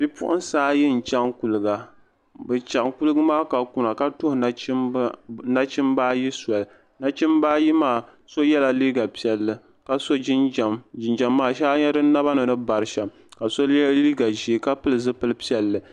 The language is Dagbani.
Bipuhiŋsaayi n chaŋ kuliga bɛ chaŋ kuligu maa ka kun na ka tuhi nachimbaayi soli nachimbaayi maa so yela liiga piɛlli ka so jinjam jinjam maa shee a nye di naba ni ni bari shɛm ka so ye liiga ʒee ka pili zipili piɛlli.